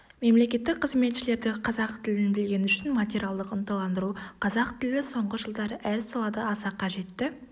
мемлекеттік қызметшілерді қазақ тілін білгені үшін материалдық ынталандыру қазақ тілі соңғы жылдары әр салада аса қажетті